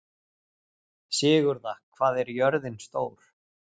Sigurða, hvað er jörðin stór?